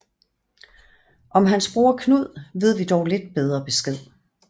Om hans broder Knud ved vi dog lidt bedre besked